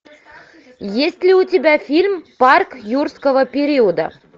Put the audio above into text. есть ли у тебя фильм парк юрского периода